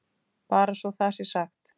Bara svo það sé sagt.